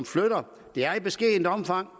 flytter i beskedent omfang